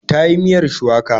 Ta yi miyar shuwaka.